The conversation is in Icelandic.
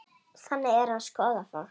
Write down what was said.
Þannig er hans góða fólk.